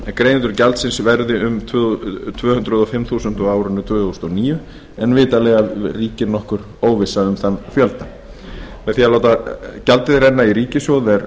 greiðendur gjaldsins verði um tvö hundruð og fimm þúsund á árinu tvö þúsund og níu en vitanlega ríkir nokkur óvissa um þann fjölda með því að láta gjaldið renna í ríkissjóð er